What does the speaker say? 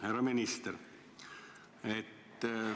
Härra minister!